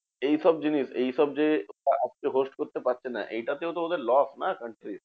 এইসব জিনিস এইসব যে তারা আজকে host করতে পারছে না এটাতেও ওদের loss না country র?